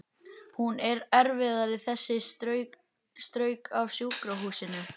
Hún er erfið þessi, strauk af sjúkrahúsinu